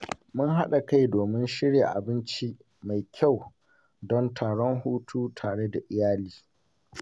Mun haɗa kai domin shirya abinci mai kyau don taron hutu tare da iyali.